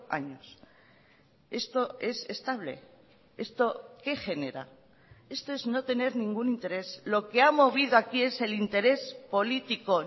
años esto es estable esto qué genera esto es no tener ningún interés lo que ha movido aquí es el interés político